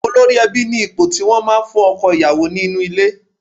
Olórí ẹbí ni ipò tí wọ́n máa ń fún ọkọ ìyàwó nínú ilé